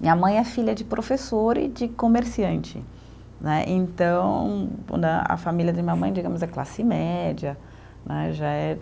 Minha mãe é filha de professor e de comerciante né, então né, a família de minha mãe, digamos, é classe média né, já é